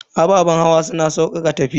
Ababen hawa suna saukaka tafiya.